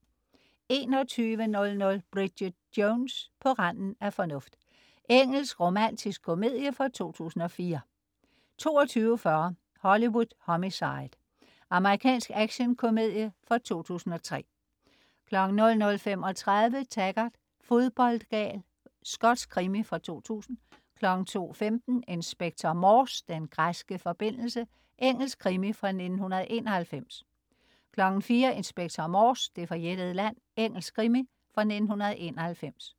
21.00 Bridget Jones: På randen af fornuft. Engelsk romantisk komedie fra 2004 22.40 Hollywood Homicide. Amerikansk actionkomedie fra 2003 00.35 Taggart: Fodboldgal. Skotsk krimi fra 2000 02.15 Inspector Morse: Den græske forbindelse. Engelsk krimi fra 1991 04.00 Inspector Morse: Det forjættede land. Engelsk krimi fra 1991